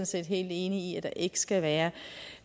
set helt enig i at der ikke skal være